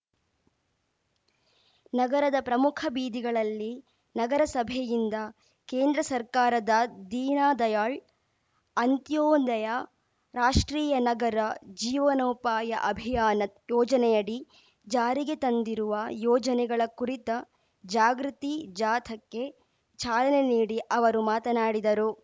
ನಗರದ ಪ್ರಮುಖ ಬೀದಿಗಳಲ್ಲಿ ನಗರಸಭೆಯಿಂದ ಕೇಂದ್ರ ಸರ್ಕಾರದ ದೀನದಯಾಳ್‌ ಅಂತ್ಯೋದಯ ರಾಷ್ಟ್ರೀಯ ನಗರ ಜೀವನೋಪಾಯ ಅಭಿಯಾನ ಯೋಜನೆಯಡಿ ಜಾರಿಗೆ ತಂದಿರುವ ಯೋಜನೆಗಳ ಕುರಿತ ಜಾಗೃತಿ ಜಾಥಾಕ್ಕೆ ಚಾಲನೆ ನೀಡಿ ಅವರು ಮಾತನಾಡಿದರು